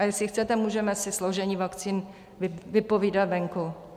A jestli chcete, můžeme si složení vakcín vypovídat venku.